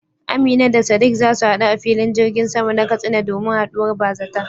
Amina da Sadiq za su hadu a filin jirgin sama na Katsina domin haduwar bazata.